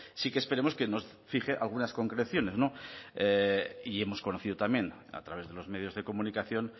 sí que esperemos que nos fije algunas concreciones y hemos conocido también a través de los medios de comunicación